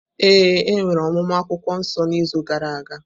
Ee, e nwere ọmụmụ akwukwuo nso n’izu gara aga.